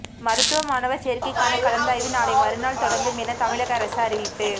மருத்துவ மாணவர் சேர்க்கைக்கான கலந்தாய்வு நாளைமறுநாள் தொடங்கும் என தமிழக அரசு அறிவிப்பு